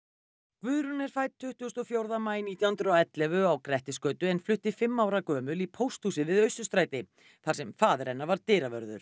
Guðrún er fædd tuttugasta og fjórða maí nítján hundruð og ellefu á Grettisgötu en flutti fimm ára gömul í pósthúsið við Austurstræti þar sem faðir hennar var dyravörður